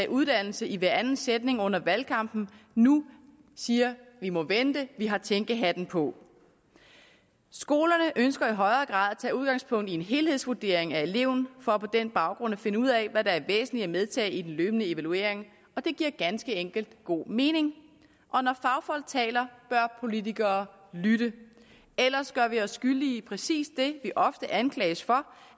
uddannelse i hver anden sætning under valgkampen nu siger vi må vente vi har tænkehatten på skolerne ønsker i højere grad at tage udgangspunkt i en helhedsvurdering af eleverne for på den baggrund at finde ud af hvad der er væsentligt at medtage i den løbende evaluering det giver ganske enkelt god mening og når fagfolk taler bør politikere lytte ellers gør vi os skyldige i præcis det vi ofte anklages for